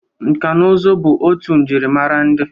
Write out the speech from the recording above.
Nka na ụzụ bụ otu njirimara ndị.